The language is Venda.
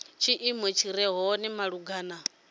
tshiimo tshi re hone malugana